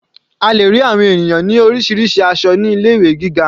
A lè rí àwọn ènìyàn ní orísirísi aṣọ ní ilé ìwé gíga.